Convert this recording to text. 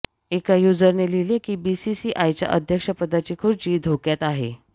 एका युजरने लिहिले की बीसीसीआयच्या अध्यक्ष पदाची खुर्ची धोक्यात आहे